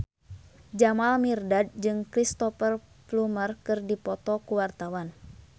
Jamal Mirdad jeung Cristhoper Plumer keur dipoto ku wartawan